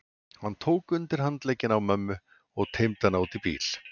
Hann tók undir handlegginn á mömmu og teymdi hana út í bíl.